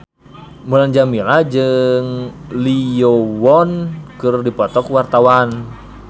Mulan Jameela jeung Lee Yo Won keur dipoto ku wartawan